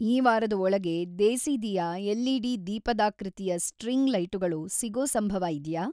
ಈ ವಾರದ ಒಳಗೆ ದೇಸಿದಿಯಾ ಎಲ್.ಈ.ಡಿ. ದೀಪದಾಕೃತಿಯ ಸ್ಟ್ರಿಂಗ್‌ ಲೈಟುಗಳು ಸಿಗೋ ಸಂಭವ ಇದ್ಯಾ?